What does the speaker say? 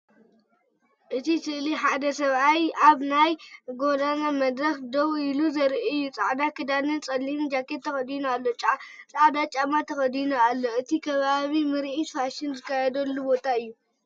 እቲ ስእሊ ሓደ ሰብኣይ ኣብ ናይ ጎደና መድረኽ ደው ኢሉ ዘርኢ እዩ። ጻዕዳ ክዳንን ጸሊም ጃኬትን ተኸዲኑ ኣሎ። ጻዕዳ ጫማ ተኸዲኑ ኣሎ። እቲ ከባቢ ምርኢት ፋሽን ዝካየደሉ ቦታ እዩ።